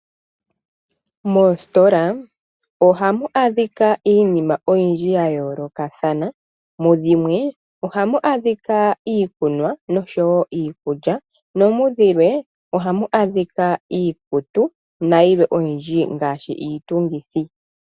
Moositola oha mu adhika iinima oyindji ya yoolokathana. Mudhimwe oha mu adhika iikulya nosho wo iikunwa, nomudhilwe oha mu adhika iikutu nayilwe oyindji, ngaashi iitungithi.